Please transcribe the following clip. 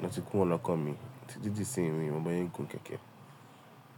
ló ti kúrò l'ọkàn mi, títí di ìsinmi mi ò mọ bọ́nsé gùn kẹ̀kẹ́.